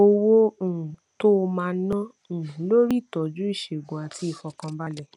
owó um tó o máa ná um lórí ìtójú ìṣègùn àti ìfòkànbalè